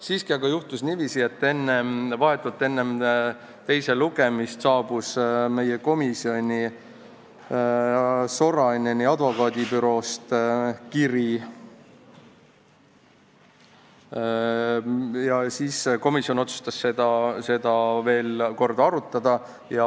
Siiski juhtus niiviisi, et vahetult enne teist lugemist saabus meie komisjoni Soraineni advokaadibüroost kiri, mille peale komisjon otsustas seda uuesti arutada.